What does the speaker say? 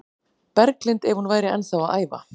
Berglind ef hún væri ennþá að æfa.